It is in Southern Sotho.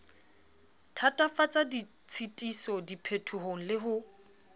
thatafatsa ditshitiso diphetohong le ho